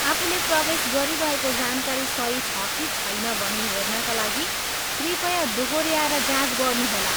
आफूले प्रवेश गरिरहेको जानकारी सही छ कि छैन भनी हेर्नाका लागि कृपया दोहोऱ्याएर जाँच गर्नुहोला।